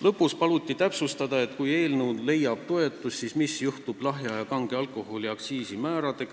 Lõpuks paluti täpsustada, et kui eelnõu leiab toetust, siis mis juhtub lahja ja kange alkoholi aktsiisi määrade